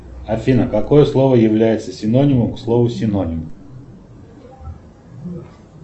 афина какое слово является синонимом к слову синоним